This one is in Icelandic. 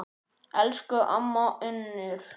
Elsku amma Unnur.